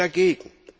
Ich bin dagegen.